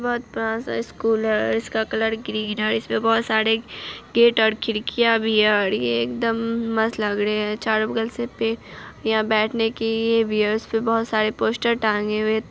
बहोत बड़ा सा स्कूल है और इसका कलर ग्रीन है और इसमें बहोत सारे गेट और खिड़कियां भी हैं और ये एकदम मस्त लग रहे है चारों बगल से पे यहाँ बैठने की पे बहोत सारे पोस्टर टाँगे हुए।